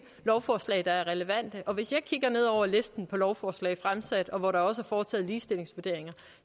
lovforslag der er relevante og hvis jeg kigger ned over listen af lovforslag fremsat og hvor der også er foretaget ligestillingsvurderinger